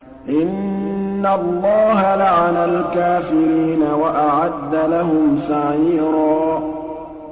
إِنَّ اللَّهَ لَعَنَ الْكَافِرِينَ وَأَعَدَّ لَهُمْ سَعِيرًا